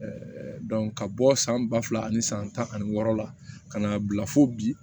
ka bɔ san ba fila ani san tan ani wɔɔrɔ la ka n'a bila fo bi